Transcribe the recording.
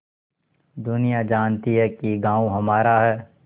दुनिया जानती है कि गॉँव हमारा है